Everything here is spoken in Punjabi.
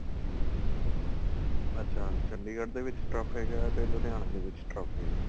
ਅੱਛਾ ਚੰਡੀਗੜ੍ਹ ਦੇ ਵਿੱਚ turf ਹੈਗਾ ਤੇ ਲੁਧਿਆਣੇ ਦੇ ਵਿੱਚ turf ਹੈਗਾ